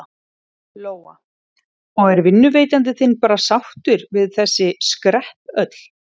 Lóa: Og er vinnuveitandi þinn bara sáttur við þessi skrepp öll?